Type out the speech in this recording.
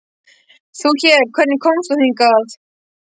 Þú hér, hvernig komst þú hingað?